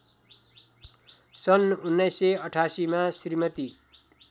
सन् १९८८मा श्रीमती